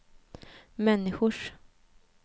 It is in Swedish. människors